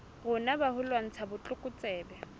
rona ba ho lwantsha botlokotsebe